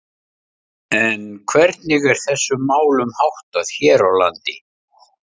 En hvernig er þessum málum háttað hér á landi?